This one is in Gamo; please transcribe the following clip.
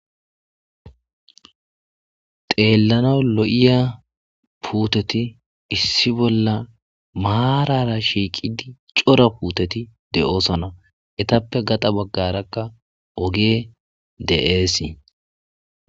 teellanaw lo7iya puuteti issi bolla maarara shiiqidi cora puuteti de7oosona etappe gaxa baggarakka oge de7eesii